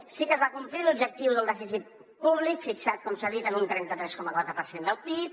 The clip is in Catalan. sí que es va complir l’objectiu del dèficit públic fixat com s’ha dit en un trenta tres coma quatre per cent del pib